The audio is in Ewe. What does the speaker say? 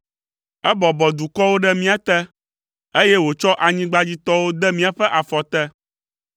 Ebɔbɔ dukɔwo ɖe mía te, eye wòtsɔ anyigbadzitɔwo de míaƒe afɔ te.